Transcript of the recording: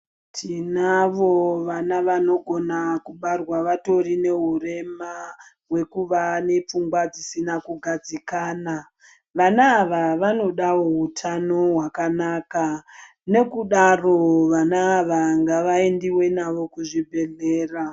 Tinavo vana vanogona kubarwa vatori nehurema hwekuva nepfungwa dzisina kugadzikana, vana ava vanodawo utano wakanaka nekudaro vana ava ngavaendiwe navo kuzvibhedhleya.